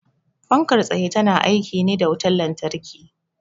Fankar tsaye ta na aiki ne da wutan lantarki